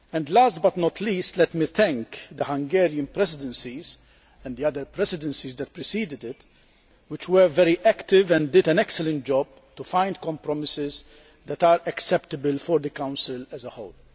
Last but not least, let me thank the Hungarian Presidency, and the other presidencies which preceded it, which were very active and did an excellent job in finding compromises that are acceptable for the Council as a whole.